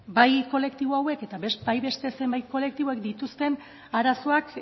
ba beno bai kolektibo hauek eta bai beste zenbait kolektiboek dituzten arazoak